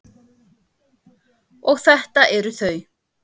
Og þetta eru þau.